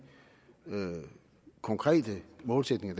konkrete målsætninger